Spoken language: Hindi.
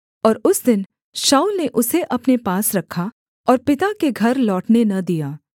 और उस दिन शाऊल ने उसे अपने पास रखा और पिता के घर लौटने न दिया